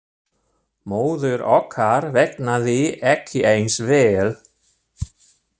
Móður okkar vegnaði ekki eins vel.